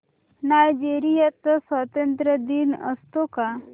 Nigeria चा स्वातंत्र्य दिन असतो का